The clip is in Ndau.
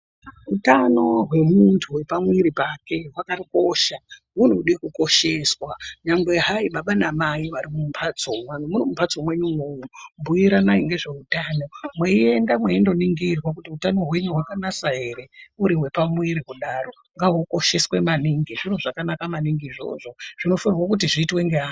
Utano hwemuntu hwepamuiri pake hwakakosha hunode kukosheswa. Nyangwe hayi baba namai vari mumbatso, muri mumbatso mwenyu umwomwo bhuiranai ngezveutano, mweienda mweindoningirwa kuti utano hwenyu hwakanasa here, uri wepamuiri kudaro, ngahukosheswe maningi. Zviro zvakanaka maningi izvozvo zvinofanirwe kuti zviitwe ngeanhu.